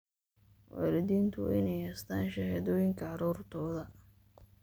Waalidiintu waa inay haystaan ??shahaadooyinka carruurtooda.